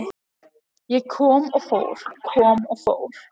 Ég kom og fór, kom og fór.